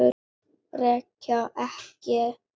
Reykja ekki.